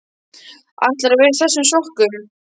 ÆTLARÐU AÐ VERA Í ÞESSUM SOKKUM?